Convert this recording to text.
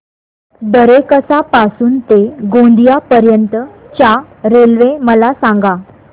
दरेकसा पासून ते गोंदिया पर्यंत च्या रेल्वे मला सांगा